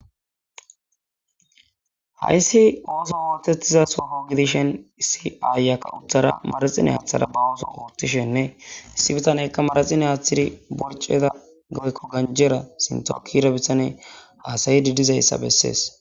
hayssi ooso wootettiza sofo gidishen issi aayakka utthara maraxine aaththara ba ooso oothtishenne issi bitanekka maraxine aaththiri borceda goykko ganjera sintokira bitane aasayi didizayssa bessees